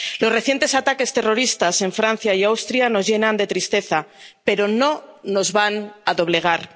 Los recientes ataques terroristas en Francia y Austria nos llenan de tristeza, pero no nos van a doblegar.